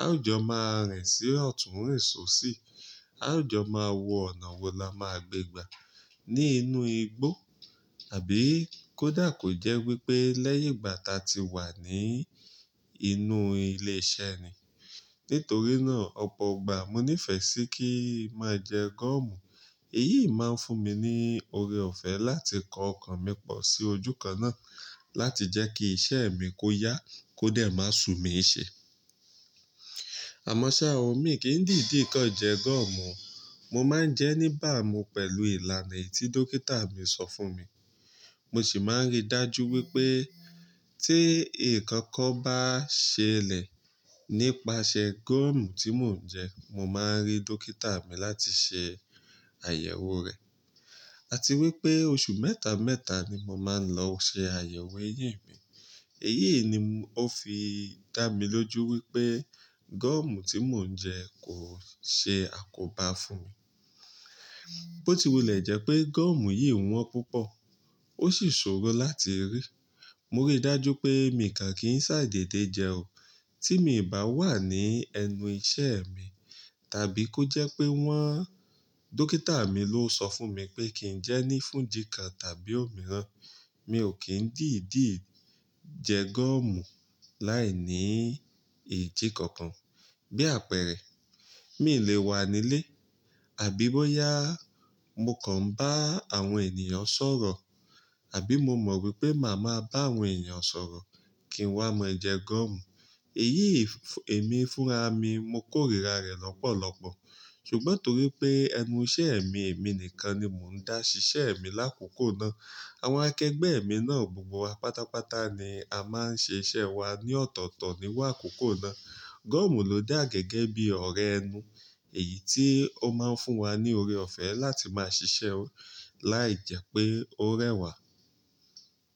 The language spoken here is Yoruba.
Á o jò máa ń rìn sí ọ̀tún, ń rìn só sí. Á o jò máa wọ ọ̀nà wo la máa gbé gbà ní inú igbó àbí kó dà kò jẹ́ wípé lẹ́yìn ìgbà ta ti wà ní inú ilé iṣẹ́ ni. Nítorí náà ọ̀pọ̀ ìgbà mo ní fẹ̀ sí kí màá jẹ gọ́ọ̀mù. Èyí máa ń fún mi ní oore ọ̀fẹ́ láti kọ ọkàn mi pọ̀ sí ojú kan náà láti jẹ́ kí iṣẹ́ mi kó yá kó dẹ̀ máa ṣú mi ṣe. Àmọ́ ṣa ò mi kì í dìde kan jẹ gọ́ọ̀mù. Mo máa ń jẹ nígbà mo pẹ̀lú ìlànà tí dókítà mi sọ fún mi. Mo sì máa ń rí dájú wípé tí ǹkan kan bá ṣẹlẹ̀ nípasẹ̀ gọ́ọ̀mù tí mò ń jẹ, mo máa rí dókítà mi láti ṣe àyẹ̀wò rẹ̀. Àti wípé oṣù mẹ́ta, mẹ́ta ni mo máa ń lọ ṣe àyẹ̀wò ẹ̀yìn mi. Èyí ni ó fi dá mi lójú wípé gọ́ọ̀mù tí mò ń jẹ kò ṣe àkóbá fún mi. Bó ti wulẹ̀ jẹ́ pé gọ́ọ̀mù yìí wọ́n púpọ̀ ó sì ṣòro láti rí. Mo rí dájú pé mi kàn kì í sáìdẹ̀dẹ̀ jẹ ó. Tí mi bà wà ní ẹnu iṣẹ́ mi tàbí kó jẹ́ pé wọ́n-- dókítà mi ló sọ fún mi pé kí ń jẹ ní fún ìdí kan tàbí òmíràn, mi ò kí ń dìdi jẹ gọ́ọ̀mù láìní ìdí kankan. Bí àpẹẹrẹ, mi lè wà nílé àbí bóyá mo kàn bá àwọn ènìyàn sọ̀rọ̀ àbí mo mọ̀ wípé màá ma bá àwọn èeyàn sọ̀rọ̀ kí n wá máa jẹ gọ́ọ̀mù. Èyí èmi fúnra mi, mo kórìíra rẹ̀ lọ́pọ̀lọpọ̀. Ṣùgbọ́n torípé ẹnu iṣẹ́ mi, èmi nìkan ni mò ń dá síṣẹ́ mi lákòókò náà. Àwọn akẹgbẹ́ mi náà gbogbo wa pátápátá ni a máa ń ṣe iṣẹ́ wa ní ọ̀tọ̀ọ̀tọ̀ ni wá kòókòó náà. Gọ́ọ̀mù ló dà gẹ́gẹ́ bí ọ̀rẹ́ ẹnu. Èyí tí ó máa ń fún wa ní oore ọ̀fẹ́ láti máa ṣiṣẹ́ láì jẹ́ pé ó rẹwà.